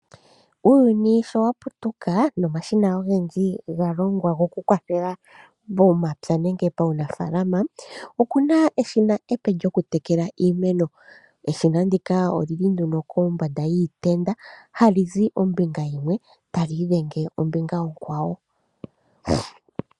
Uuyuni sho wa putuka nomashina ogendji ga longwa gokukwathela momapya nenge paunafalama, okuna eshina epe lyokutekela iimeno. Eshina ndika oli li nduno kombanda yiitenda, hali zi ombinga yimwe tali idhenge ombinga onkwawo.